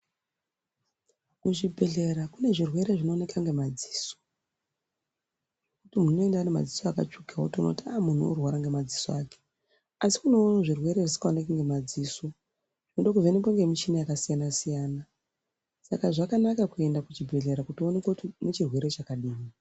Kuzvibhedhlera kune zvirwere zvinooneka ngemadziso, kuti muntu unoenda une madziso akatsvuka wotoona kuti ah munhu uri kurwara ngemadziso ake, Asi kunewo zvirwere zvisikaonekwi ngemadziso zvinodo kuvhenekwa ngemichina yakasiyana siyana. Saka zvakanaka kuenda kuchibhedhlera kuti uonekwe kuti une chirwere chakadini.